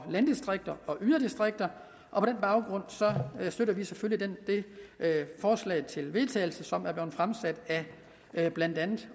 landdistrikter og yderdistrikter og på den baggrund støtter vi selvfølgelig det forslag til vedtagelse som er blevet fremsat af blandt andet